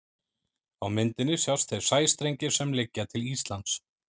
Á myndinni sjást þeir sæstrengir sem liggja til Íslands.